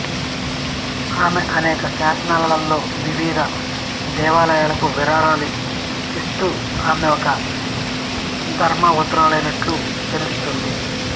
ఆమె అనేక శాసనాలలో వివిధ దేవాలయాలకు విరాళాలు ఇస్తూ ఆమె ఒక ధర్మవంతురాలైనట్లు తెలుస్తోంది